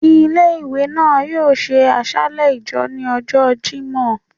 Ìlé-ìwé náá yoo ṣe àsàlẹ ijọ́ ni ọjọ Jimọ